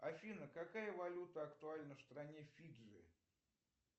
афина какая валюта актуальна в стране фиджи